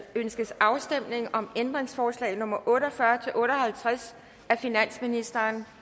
ønskes afstemning om ændringsforslag nummer otte og fyrre til otte og halvtreds af finansministeren